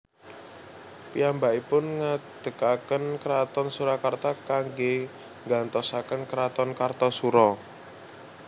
Piyambakipun ngadegaken kraton Surakarta kanggé nggantosaken kraton Kartasura